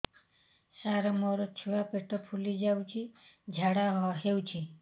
ସାର ମୋ ଛୁଆ ପେଟ ଫୁଲି ଯାଉଛି ଝାଡ଼ା ହେଉନାହିଁ